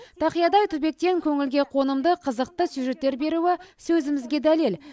тақиядай түбектен көңілге қонымды қызықты сюжеттер беруі сөзімізге дәлел